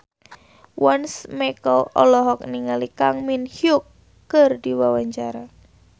Once Mekel olohok ningali Kang Min Hyuk keur diwawancara